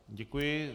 Děkuji.